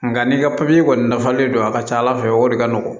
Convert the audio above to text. Nka n'i ka papiye kɔni dafalen don a ka ca ala fɛ o de ka nɔgɔn